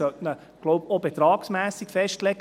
Man sollte ihn wohl auch betragsmässig festlegen.